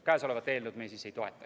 Käesolevat eelnõu me ei toeta.